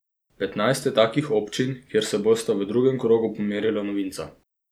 Petnajst je takih občin, kjer se bosta v drugem krogu pomerila novinca.